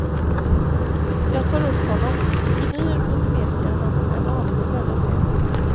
Jag tar upp honom, gnyr och smeker hans en aning svedda päls.